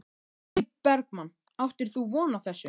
Logi Bergmann: Áttir þú von á þessu?